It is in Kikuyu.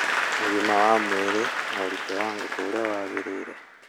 ũgima wa mwĩrĩ na ũritũ wa ngũkũ ũrĩa wagĩrĩire.